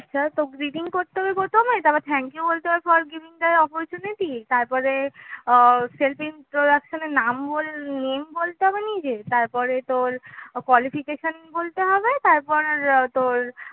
তোর greeting করতে হবে প্রথমে তারপর thank you বলতে হয় for giving the oppurtunity তারপর আহ self introduction এ নাম বল name বলতে হবে নিজের তারপরে তোর qualification বলতে হবে তারপর তোর